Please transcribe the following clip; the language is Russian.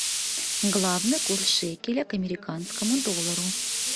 главный курс шекеля к американскому доллару